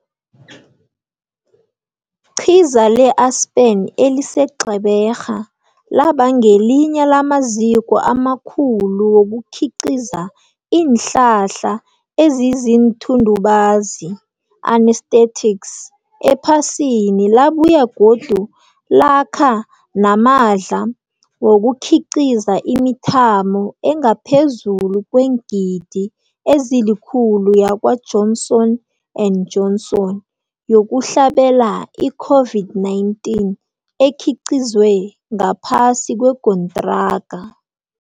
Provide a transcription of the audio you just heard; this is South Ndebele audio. qiza le-Aspen eliseGqeberha laba ngelinye lamaziko amakhulu wokukhiqiza iinhlahla eziziinthundubazi, anaesthetics, ephasini labuye godu lakha nama dla wokukhiqiza imithamo engaphezulu kweengidi ezilikhulu yakwa-Johnson and Johnson yokuhlabela i-COVID-19, ekhiqizwe ngaphasi kwekontraga.